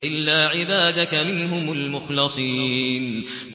إِلَّا عِبَادَكَ مِنْهُمُ الْمُخْلَصِينَ